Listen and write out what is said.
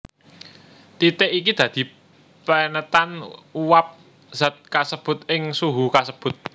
Titik iki dadi penetan uwab zat kasebut ing suhu kasebut